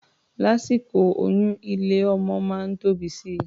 Lásìkò oyún, ilé-ọmọ máa ń tóbi si.